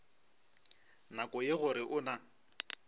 nako ye gore o na